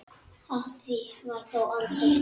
Af því varð þó aldrei.